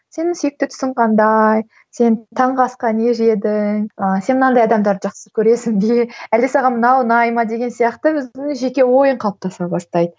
сенің сүйікті түсің қандай сен таңғы асқа не жедің ы сен мынандай адамдарды жақсы көресің бе әлде саған мынау ұнай ма деген сияқты өзінің жеке ойың қалыптаса бастайды